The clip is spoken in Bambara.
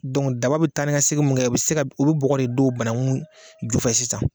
Dɔnki daba bɛ taa ni ka segin mun kɛ, o bɛ se o bɛ bɔgɔ de don banakun ju fɛ sisan.